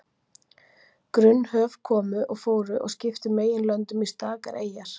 Grunn höf komu og fóru og skiptu meginlöndum í stakar eyjar.